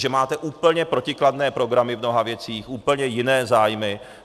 Že máte úplně protikladné programy v mnoha věcech, úplně jiné zájmy.